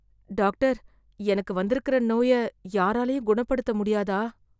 doctor எனக்கு வந்திருக்கிற நோய யாராலயும் குணப்படுத்த முடியாதா